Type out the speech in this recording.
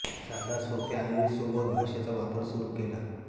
साध्या सोप्या आणि सुबोध भाषेचा वापर सुरू केला